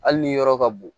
Hali ni yɔrɔ ka bon